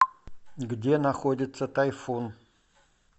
где находится тайфун